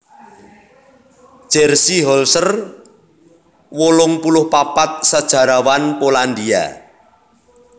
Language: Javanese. Jerzy Holzer wolung puluh papat sajarawan Polandia